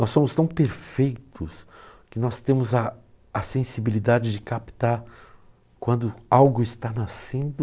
Nós somos tão perfeitos que nós temos a a sensibilidade de captar quando algo está nascendo